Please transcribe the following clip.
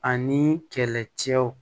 Ani kɛlɛcɛw